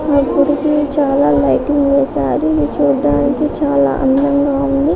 చాలా రంగులు వేశారు చాల లైటుంగ్స్ కూడా ఉన్నాయి చుడానికి చాలా బాగా ఉంది